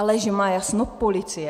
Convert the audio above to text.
Ale že má jasno policie?